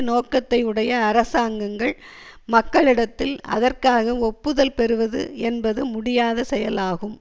நோக்கத்தை உடைய அரசாங்கங்கள் மக்களிடத்தில் அதற்காக ஒப்புதல் பெறுவது என்பது முடியாத செயல் ஆகும்